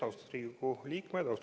Austatud Riigikogu liikmed!